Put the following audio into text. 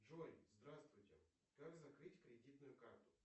джой здравствуйте как закрыть кредитную карту